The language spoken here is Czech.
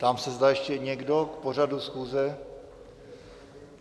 Ptám se, zda ještě někdo k pořadu schůze?